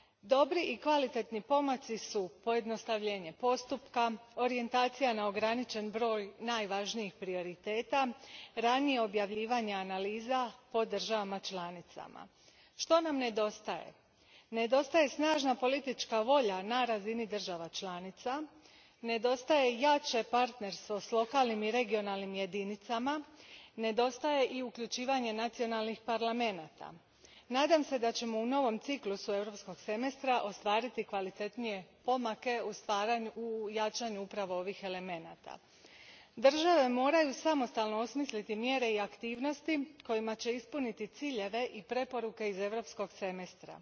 Dobri i kvalitetni pomaci su pojednostavljenje postupka, orijentacija na ograničen broj najvažnijih prioriteta, ranije objavljivanje analiza po državama članicama. Što nam nedostaje? Nedostaje snažna politička volja na razini država članica, nedostaje jače partnerstvo s lokalnim i regionalnim jedinicama, nedostaje i uključivanje nacionalnih parlamenata. Nadam se da ćemo u novom ciklusu Europskog semestra ostvariti kvalitetnije pomake u jačanju upravo ovih elemenata. Države moraju samostalno osmisliti mjere i aktivnosti kojima će ispuniti ciljeve i preporuke iz Europskog semestra.